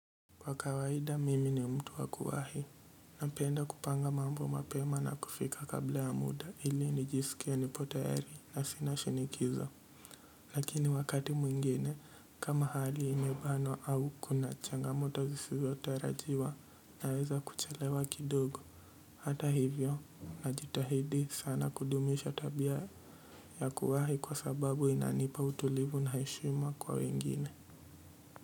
Kwa kawaida mimi ni mtu wa kuwahi, napenda kupanga mambo mapema na kufika kabla ya muda, ili nijisikie nipo tayari na sina shinikizo, lakini wakati mwingine, kama hali imebanwa au kuna changamoto zisizotarajiwa, naweza kuchelewa kidogo, hata hivyo, na jitahidi sana kudumisha tabia ya kuwahi kwa sababu inanipa utulivu na heshima kwa wengine.